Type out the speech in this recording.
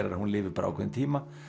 er að hún lifir bara ákveðinn tíma